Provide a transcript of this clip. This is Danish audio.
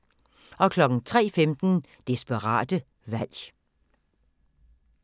03:15: Desperat valg